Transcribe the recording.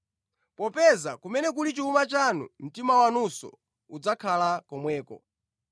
Popeza kumene kuli chuma chanu, mtima wanunso udzakhala komweko.”